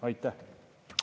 Aitäh!